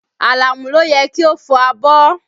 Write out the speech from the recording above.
Àlàmú ló yẹ kí o fọ abọ́